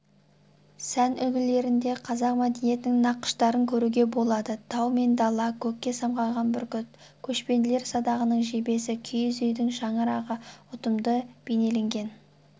сән үлгілерінде қазақ мәдениетінің нақыштарын көруге болады тау мен дала көкке самғаған бүркіт көшпенділер садағының жебесі киіз үйдің шаңырағы ұтымды бейнеленген